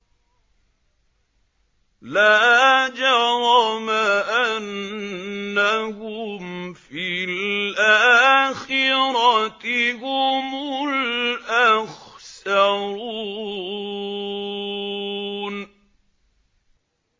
لَا جَرَمَ أَنَّهُمْ فِي الْآخِرَةِ هُمُ الْأَخْسَرُونَ